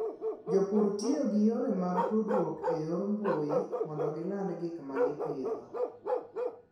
Jopur tiyo gi yore mag tudruok e yor mbuyi mondo giland gik ma gipidho.